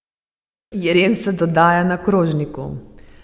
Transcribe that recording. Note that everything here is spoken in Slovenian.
Jedem se dodaja na krožniku.